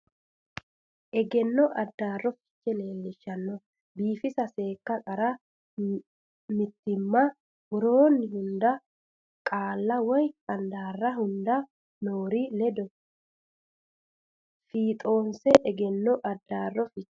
Egenno Addaarro Fiche Lawishsha biifisa seekka qarra mitiimma Woroonni hunda qaalla woy handaarra hunda noori ledo fiixoonse Egenno Addaarro Fiche.